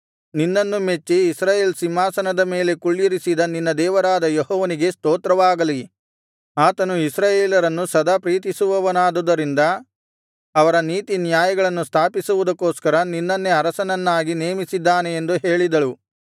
ನಿನ್ನನ್ನು ಮೆಚ್ಚಿ ಇಸ್ರಾಯೇಲ್ ಸಿಂಹಾಸನದ ಮೇಲೆ ಕುಳ್ಳಿರಿಸಿದ ನಿನ್ನ ದೇವರಾದ ಯೆಹೋವನಿಗೆ ಸ್ತೋತ್ರವಾಗಲಿ ಆತನು ಇಸ್ರಾಯೇಲರನ್ನು ಸದಾ ಪ್ರೀತಿಸುವವನಾದುದರಿಂದ ಅವರ ನೀತಿನ್ಯಾಯಗಳನ್ನು ಸ್ಥಾಪಿಸುವುದಕ್ಕೋಸ್ಕರ ನಿನ್ನನ್ನೇ ಅರಸನನ್ನಾಗಿ ನೇಮಿಸಿದ್ದಾನೆ ಎಂದು ಹೇಳಿದಳು